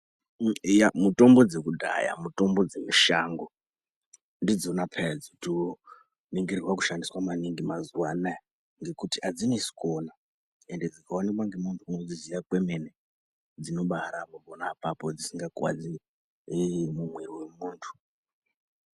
Mitombo dzekudhaya mitombo dzemushango ndidzona peya dzotoningirirwa kushandiswa maningi mazuva anaya. Ngekuti hadzinesi kuona ende dzikaonekwa ngemuntu unodziziva kwemene, dzinobarapa pona apapo dzisinga kuvadzi muviri wemuntu.